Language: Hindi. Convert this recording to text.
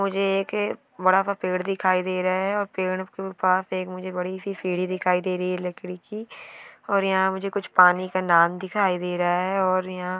मुझे एक बड़ा सा पेड़ दिखाई दे रहा है और पेड़ पास मुझे बड़ी सी सीढ़ी दिखाई दे रही है लकड़ी की और यह मुझे कुछ पानी का नाम दिखाई दे रहा है।